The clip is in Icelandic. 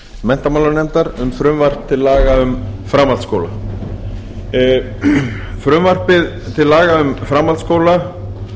menntamálanefndar um frumvarp til laga um framhaldsskóla frumvarpið til laga um framhaldsskóla